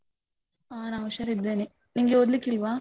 ಹ ನಾ ಹುಷಾರಿದ್ದೇನೆ. ನಿಂಗೆ ಓದ್ಲಿಕ್ಕಿಲ್ವಾ?